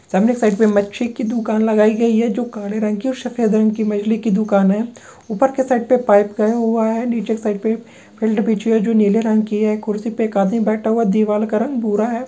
सामने के साइड पे मच्छी की दुकान लगाई गयी है जो काले रंग की सफ़ेद रंग की मछली की दुकान है ऊपर के साइड पे पाइप गया हुआ है नीचे के साइड पे फिल्ड बिछी है जो नीले रंग की है कुर्सी पे एक आदमी बैठा हुआ दिवार का रंग भूरा है।